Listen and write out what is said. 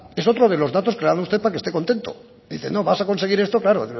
es otro de los datos que ha dado usted para que esté contento dice no vas a conseguir esto claro